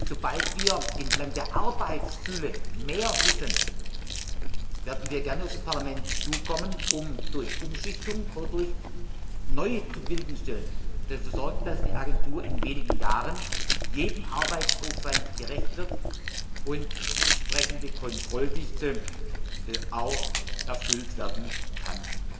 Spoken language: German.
Sobald wir anhand der Arbeitsfülle mehr wissen, werden wir gerne auf das Parlament zukommen, um durch Umschichtung oder durch neu zu bewilligende Stellen dafür zu sorgen, dass die Agentur in wenigen Jahren jedem Arbeitsaufwand gerecht wird und die entsprechende Kontrolldichte auch erfüllt werden kann.